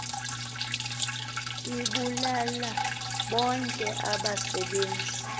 ibulale bonke abasebenzi